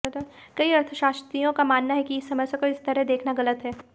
कई अर्थशास्त्रियों का मानना है कि इस समस्या को इस तरह देखना गलत है